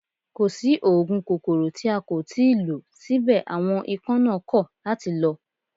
Kò sí oògùn kòkòrò tí a kò tí ì lò síbẹ̀ àwọn ikán náà kọ̀ láti lọ